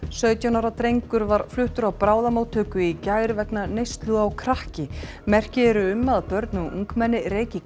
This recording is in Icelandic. sautján ára drengur var fluttur á bráðamóttöku í gær vegna neyslu á krakki merki eru um að börn og ungmenni reyki